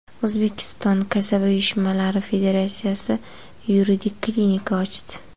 O‘zbekiston Kasaba uyushmalari federatsiyasi yuridik klinika ochdi.